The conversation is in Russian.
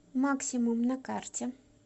максимум на карте